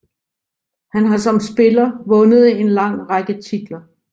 Han har som spiller vundet en lang række titler